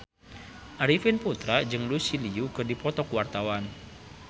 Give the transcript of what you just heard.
Arifin Putra jeung Lucy Liu keur dipoto ku wartawan